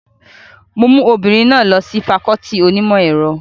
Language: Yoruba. Mo mú ọmọbìnrin náà lọ sí fakọọti onímọ̀ ẹ̀rọ